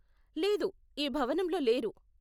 లేదు, ఈ భవనంలో లేరు.